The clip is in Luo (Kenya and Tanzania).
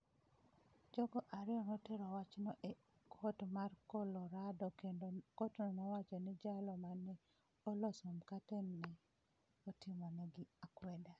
Jogo ariyo notero wachno e kot mar Colorado kendo kotno nowacho ni jalo ma ne oloso mkate ne otimogi akwede.